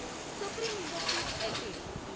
supreme industries LTD